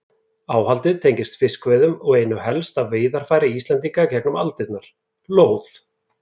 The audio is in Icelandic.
Áhaldið tengist fiskveiðum og einu helsta veiðarfæri Íslendinga í gegnum aldirnar, lóð.